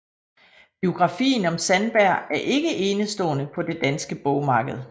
Biografien om Sandberg er ikke enestående på det danske bogmarked